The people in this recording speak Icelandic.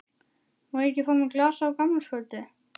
Má ég ekki fá mér glas á gamlárskvöldi?